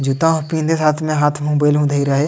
जूता हु पिँधे --